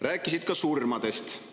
Rääkisid ka surmadest.